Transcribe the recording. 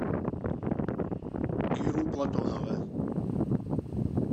киру платонова